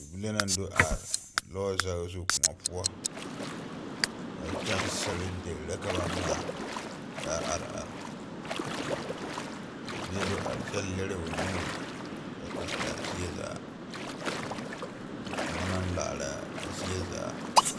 Bibile naŋ do are lɔɔ zage zu koɔ poɔ kyɛŋsire deri la ba ŋmaa kaa are are kaa bie do are kyɛ lere o nuurikyɛ kaaraa zie zaa a koɔ naŋ laaraa zie zaa.